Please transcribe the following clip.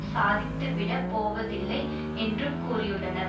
சாதித்துவிடப் போவதில்லை என்றும் கூறியுள்ளனர்